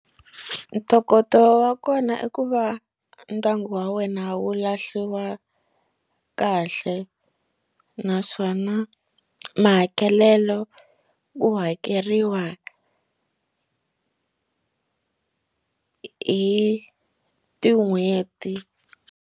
Ntokoto wa kona i ku va ndyangu wa wena wu lahliwa kahle naswona mahakelelo wu hakeriwa hi tin'hweti.